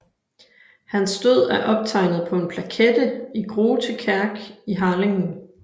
Hans død er optegnet på en plakette i Grote Kerk i Harlingen